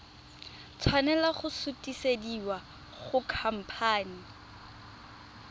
tshwanela go sutisediwa go khamphane